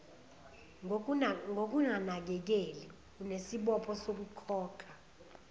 ngokunganakeleli unesibopho sokukhokha